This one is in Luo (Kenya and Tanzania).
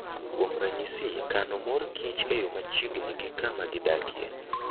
Kuom ranyisi, kano mor kich e yo machiegni gi kama gidakie.